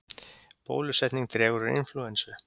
Bólusetning dregur úr inflúensu